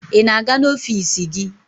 Ị na-aga n'ọfiisi gị?